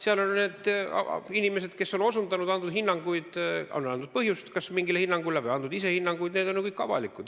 Seal on kirjas need inimesed, kes on osundanud, kes on andnud põhjust kas mingile hinnangule või andnud ise hinnanguid, see on ju kõik avalik.